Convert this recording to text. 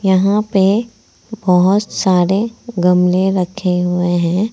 यहां पे बहुत सारे गमले रखे हुए हैं।